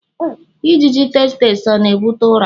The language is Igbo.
ijiji tsetse ọ na-ebute ụra?